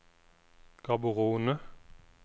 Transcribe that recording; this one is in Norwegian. Gaborone